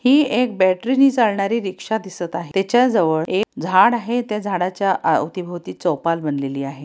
ही एक बॅटरी नि चालणारी रिक्शा दिसत आहे त्याच्या जवळ एक झाड आहे त्या झाडाच्या अवती-भोवती चौपाल बनलेली आहे.